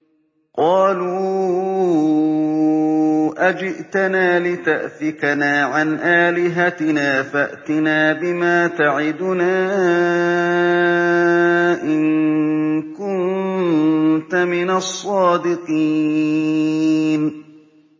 قَالُوا أَجِئْتَنَا لِتَأْفِكَنَا عَنْ آلِهَتِنَا فَأْتِنَا بِمَا تَعِدُنَا إِن كُنتَ مِنَ الصَّادِقِينَ